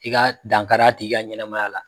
I ka dankar'a tigi ka ɲɛnɛmaya la